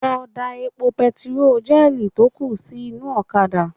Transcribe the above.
Lọ da epo bẹntiróò jẹ́ẹ̀nì tó kù sí inú ọ̀kadà